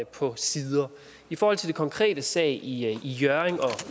på sider i forhold til den konkrete sag i hjørring og